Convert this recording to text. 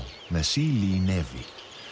með síli í nefi